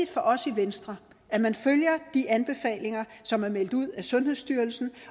for os i venstre at man følger de anbefalinger som er meldt ud af sundhedsstyrelsen